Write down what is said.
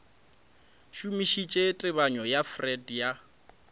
šomišitše tebanyo ya freud ya